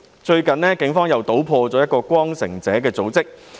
最近警方搗破一個名為"光城者"的組織。